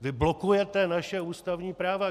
Vy blokujete naše ústavní práva.